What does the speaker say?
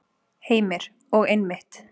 Heimir: Og einmitt.